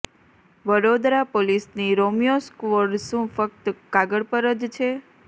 વડોદરા પોલીસની Romeo squad શું ફક્ત કાગળ પર જ છે